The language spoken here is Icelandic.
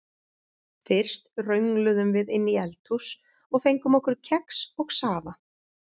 Fyrst röngluðum við inn í eldhús og fengum okkur kex og safa.